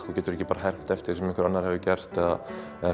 þú getur ekki hermt eftir því sem annar hefur gert eða